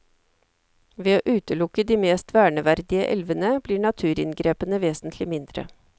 Ved å utelukke de mest verneverdige elvene, blir naturinngrepene vesentlig mindre.